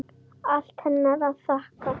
Allt henni að þakka.